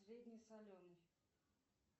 средне соленый